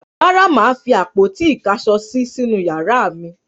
Rárá, mà á fi àpótí-ìkáṣọsí sínú ìyàrá mi.